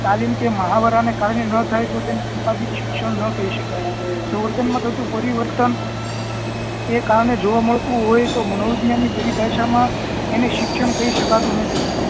તાલીમ કે મહાવરા નાં કારણે નાં થાય તો તેને સંપાદીક શિક્ષણ ન કહી શકાય જો વર્તન મા થતું પરિવર્તન એ કારણે જોવા મળતું હોય તો મનોવિજ્ઞાન ની ભાષા માં એને શિક્ષણ કહી શકાતું નથી